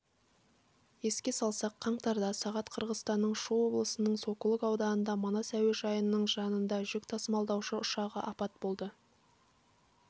еске салсақ қаңтарда сағат қырғызстанның шу облысының сокулук ауданында манас әуежайының жанындажүк тасымалдаушы ұшағы апат болды